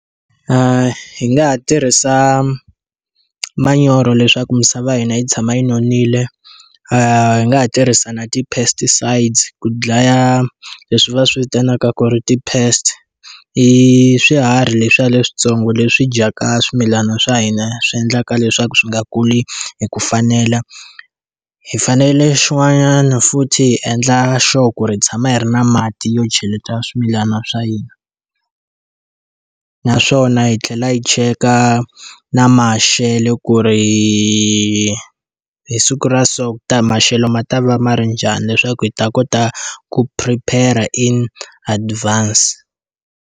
Hi nga ha tirhisa manyoro leswaku misava ya hina yi tshama yi nonile. Hi nga ha tirhisa na ti-pesticides ku dlaya leswi va swi vitanaka ku ri ti-pests, i swiharhi leswiya leswintsongo leswi dyaka swimilana swa hina swi endlaka leswaku swi nga kuli hi ku fanela. Hi fanele xin'wana futhi hi endla sure ku ri hi tshama hi ri na mati yo cheleta swimilana swa hina. Naswona yi tlhela yi cheka na maxelo ku ri hi siku so maxelo ma ta va ma ri njhani leswaku hi ta kota ku prepare-a in advance.